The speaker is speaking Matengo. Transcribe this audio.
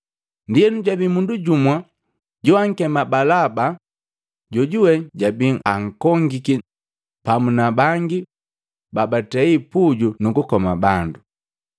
Ndienu jabii mundu jumu joankema Balaba, jojuwe jabii ankongiki pamu na bangi babatei puju nukukoma bandu.